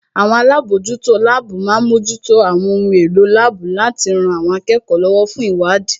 Àwọn alábòójútó láàbù má ń mójútó àwọn ohun èlò láàbù láti rọ àwọn akẹ́kọ̀ọ́ lọ́wọ́ fún ìwádìí